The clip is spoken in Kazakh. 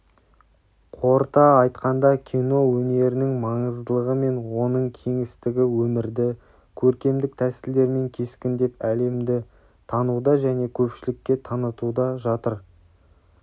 қорыта айтқанда кино өнерінің маңыздылығы мен оның кеңістігі өмірді көркемдік тәсілдермен кескіндеп әлемді тануда және көпшілікке танытуда жатыр